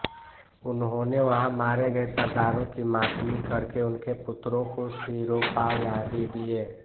उन्होंने वहाँ मारे गये सरदारों की मातमी करके उनके पुत्रों को सिरोपाव आदि दिये